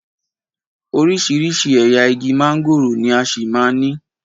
Oríṣiríṣi ẹ̀yà igi mángòrò ni a ṣì máa ní.